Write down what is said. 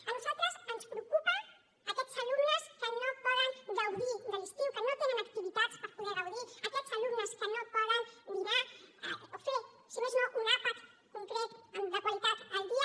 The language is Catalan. a nosaltres ens preocupen aquests alumnes que no poden gaudir de l’estiu que no tenen activitats per poder gaudir aquests alumnes que no poden dinar o fer si més no un àpat concret de qualitat al dia